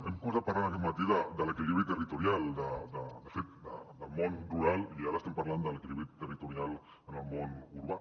hem començat parlant aquest matí de l’equilibri territorial de fet del món rural i ara estem parlant de l’equilibri territorial en el món urbà